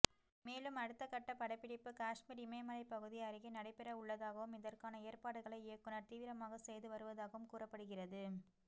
மேலும் அடுத்தகட்ட படப்பிடிப்பு காஷ்மீர் இமயமலை பகுதி அருகே நடைபெறவுள்ளதாகவும் இதற்கான ஏற்பாடுகளை இயக்குனர் தீவிரமாக செய்து வருவதாகவும் கூறப்படுகிறது